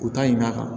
U ta ɲi ɲina kan